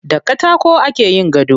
Da katako ake yin gado.